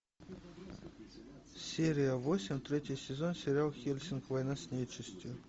серия восемь третий сезон сериал хеллсинг война с нечистью